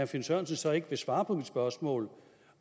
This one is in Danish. finn sørensen så ikke vil svare på mit spørgsmål